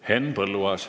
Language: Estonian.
Henn Põlluaas.